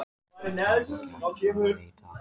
Það er ekki hægt að svara því í dag.